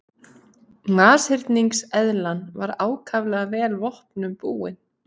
Nashyrningseðlan var ákaflega vel vopnum búin.